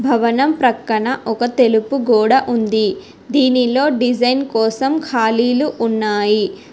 భవనం ప్రక్కన ఒక తెలుపు గోడ ఉంది దీనిలో డిజైన్ కోసం ఖాళీలు ఉన్నాయి.